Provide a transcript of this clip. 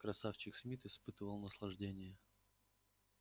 красавчик смит испытывал наслаждение